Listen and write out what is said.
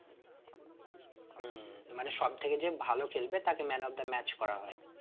উম মানে সব থেকে যে ভালো খেলবে তাকে man of the match করা হয়